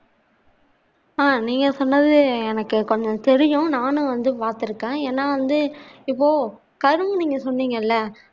ஆஹ் நீங்க சொன்னது எனக்கு கொஞ்சம் தெரியும் நானும் வந்து பார்த்திருக்கேன் ஏன்னா வந்து இப்போ கரும்பு நீங்க சொன்னிங்க இல்ல